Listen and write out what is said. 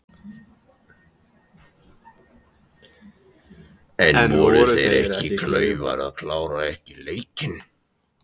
En voru þeir ekki klaufar að klára ekki leikinn?